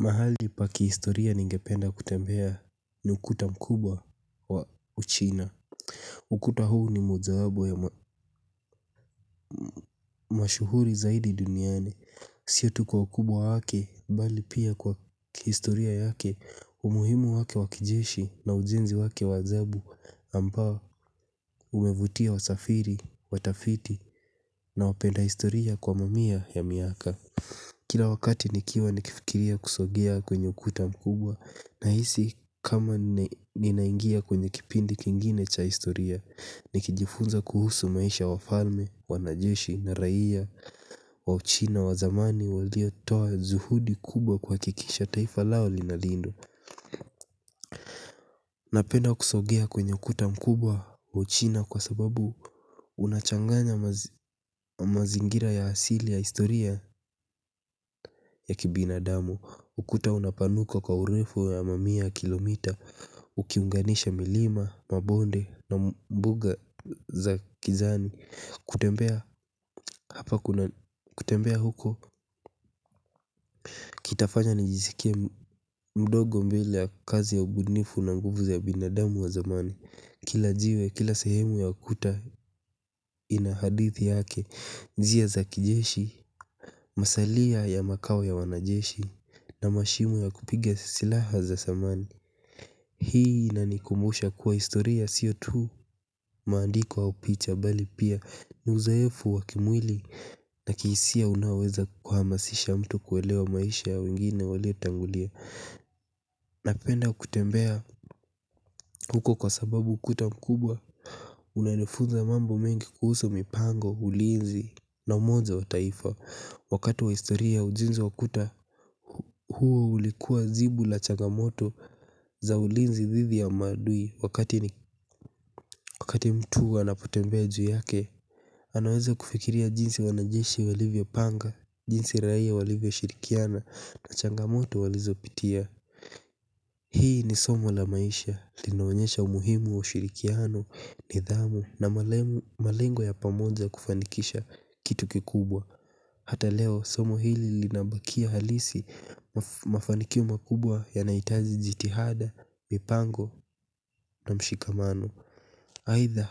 Mahali paki historia ningependa kutembea ni ukuta mkubwa wa uchina. Ukuta huu ni mojaabo ya mashuhuri zaidi duniani sio tu kwa ukubwa wa wake bali pia kwa kihistoria yake umuhimu wake wa kijeshi na ujenzi wake wa ajabu ambao umevutia wasafari watafiti na wapenda historia kwa mamia ya miaka. Kila wakati nikiwa nikifikiria kusogea kwenye ukuta mkubwa na hisi kama ninaingia kwenye kipindi kingine cha historia. Nikijifunza kuhusu maisha wa falme, wanajeshi, na raiya, wa uchina, wazamani, walio toa juhudi kubwa kwa kikisha taifa lao linalindwa. Napenda kusogea kwenye ukuta mkubwa uchina kwa sababu unachanganya mazingira ya hasili ya historia ya kibina damu. Ukuta unapanuka kwa urefu ya mamia kilomita. Ukiunganisha milima, mabonde na mbuga za kijani. Kutembea hapa kutembea huko kitafanya nijisikie mdogo mbele ya kazi ya ubunifu na nguvu za binadamu wa zamani. Kila jiwe, kila sehemu ya ukuta ina hadithi yake. Njia za kijeshi, masalia ya makao ya wanajeshi, na mashimu ya kupiga silaha za zamani. Hii ina nikumbusha kuwa historia sio tu maandiko au picha. Bali pia uzoefu wa kimwili na kihisia unaoweza kuhamasisha mtu kuelewa maisha ya wengine waliotangulia. Napenda kutembea huko kwa sababu ukuta mkubwa. Unanifunza mambo mengi kuhusu mipango ulinzi na umoja wa taifa. Wakati wa historia, ujenzi wa ukuta huo ulikuwa jibu la chagamoto za ulinzi dhidhi ya maadui. Wakati mtu anapotembea juu yake, anaweza kufikiria jinsi wanajeshi walivyopanga, jinsi raia walivyoshirikiana, na changamoto walizopitia. Hii ni somo la maisha. Linaonyesha umuhimu wa shirikiana, nidhamu na malengo ya pamoja kufanikisha kitu kikubwa. Hata leo, somo hili linabakia halisi. Mafanikio makubwa yanahitaji jitihada, mipango na mshikamano. Aidha,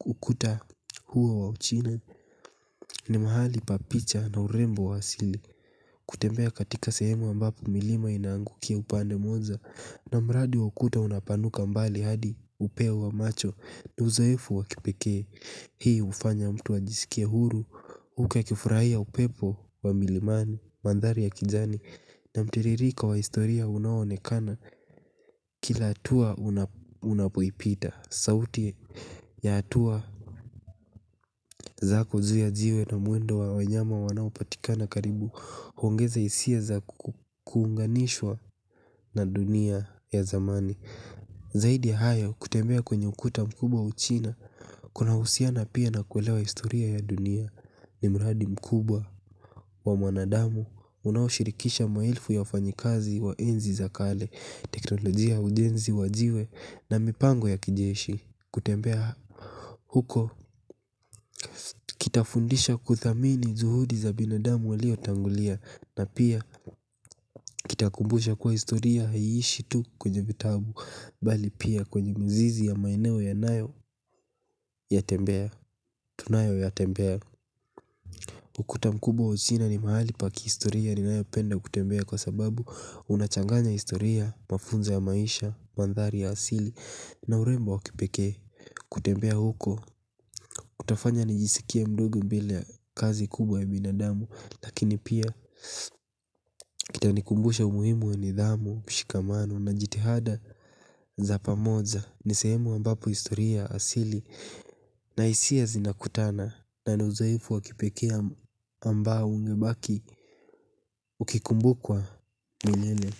ukuta huwa wa uchina. Ni mahali pa picha na urembo wa asili. Kutembea katika sehemu ambapo milima inaangukia upande moja, na mradi wa ukuta unapanuka mbali hadi upea wa macho. Ni uzoefu wa kipekee. Hii hufanya mtu ajisikie huru, huku akifurahia upepo wa milimani, mandhari ya kijani, na mtiririko wa historia unaoonekana kila hatua unapoipita. Sauti ya hatua zako juu ya jiwe na mwendo wa wanyama wanaopatikana karibu, huongeza hisia za kuunganishwa na dunia ya zamani. Zaidi ya hayo, kutembea kwenye ukuta mkubwa uchina kuna husiana pia na kuelewa historia ya dunia. Ni mradi mkubwa wa mwanadamu unaoshirkisha maelfu ya wafanyikazi wa enzi za kale, teknolojia ya ujenzi wa jiwe, na mipango ya kijeshi. Kutembea huko kitafundisha kuthamini juhudi za binandamu waliotangulia. Na pia, kitakumbusha kuwa historia haiishi tu kwenye vitabu, bali pia kwenye mizizi ya maeneo unayo yatembea. Tunayoyatembea. Ukuta mkubwa wa Uchina ni mahali pa kihistoria ninayopenda kutembea kwa sababu, unachanganya historia, mafunzo ya maisha, mandhari ya asili, na urembo wa kipekee. Kutembea huko, kutafanya nijisikie mdogo bila ya kazi kubwa ya binadamu. Lakini pia, kutanikumbusha umuhimu wa nidhamu, mshikamano na jitihada za pamoja. Ni sehemu ambapo historia asili, na hisia zinakutana na ni uzoefu wa kipekee. Ambao ungebaki ukikumbukwa milele.